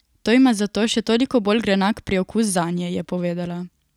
To ima zato še toliko bolj grenak priokus zanje, je povedala.